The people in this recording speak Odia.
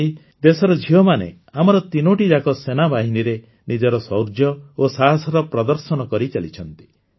ଆଜି ଦେଶର ଝିଅମାନେ ଆମର ତିନୋଟିଯାକ ସେନାବାହିନୀରେ ନିଜର ଶୌର୍ଯ୍ୟ ଓ ସାହସର ପ୍ରଦର୍ଶନ କରିଚାଲିଛନ୍ତି